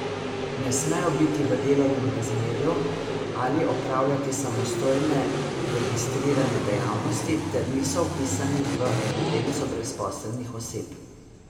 Ne smejo biti v delovnem razmerju ali opravljati samostojne registrirane dejavnosti ter niso vpisani v evidenco brezposelnih oseb.